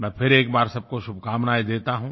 मैं फिर एक बार सबको शुभकामनाएं देता हूँ